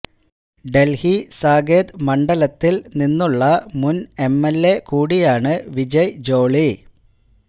ഡൽഹി സാകേത് മണ്ഡലത്തിൽ നിന്നുള്ള മുൻ എംഎൽഎ കൂടിയാണ് വിജയ് ജോളി